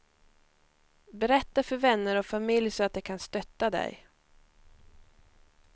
Berätta för vänner och familj så att de kan stötta dig.